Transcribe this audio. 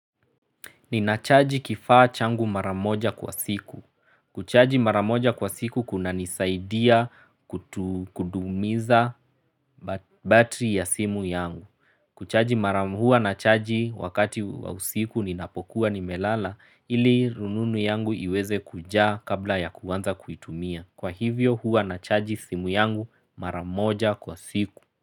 Ninachaji kifaa changu mara moja kwa siku. Kuchaji mara moja kwa siku kunanisaidia kudumisha battery ya simu yangu. Kuchaji mara huwa nachaji wakati wa usiku ninapokuwa nimelala ili rununu yangu iweze kujaa kabla ya kuanza kuitumia. Kwa hivyo hua nachaji simu yangu maramoja kwa siku.